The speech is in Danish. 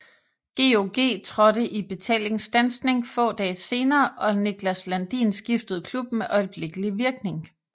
GOG trådte i betalingsstandsning få dage senere og Niklas Landin skiftede klub med øjeblikkelig virkning